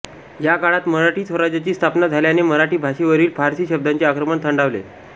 या काळात मराठी स्वराज्याची स्थापना झ़ाल्याने मराठी भाषेवरील फारसी शब्दांच़े आक्रमण थंडावले